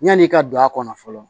Yan'i ka don a kɔnɔ fɔlɔ